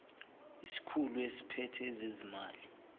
isikhulu esiphethe ezezimali